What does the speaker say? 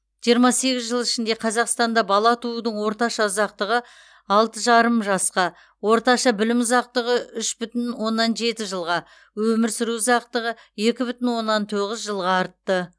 жиырма сегіз жыл ішінде қазақстанда бала туудың орташа ұзақтығы алты жарым жасқа орташа білім ұзақтығы үш бүтін оннан жеті жылға өмір сүру ұзақтығы екі бүтін оннан тоғыз жылға артты